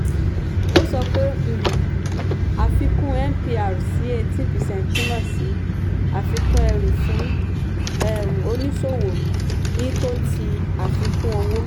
ó sọ pé um àfikún mpr sí 18 percent túmọ̀ sí àfikún ẹrù fún um oníṣòwò ní tò ti àfikún owó.